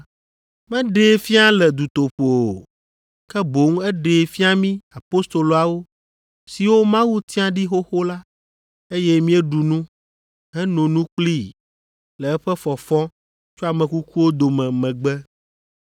Meɖee fia le dutoƒo o, ke boŋ eɖee fia mí apostoloawo siwo Mawu tia ɖi xoxo la, eye míeɖu nu, heno nu kplii le eƒe fɔfɔ tso ame kukuwo dome megbe.